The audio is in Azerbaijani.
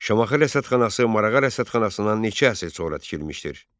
Şamaxı Rəsədxanası Marağa Rəsədxanasından neçə əsr sonra tikilmişdir?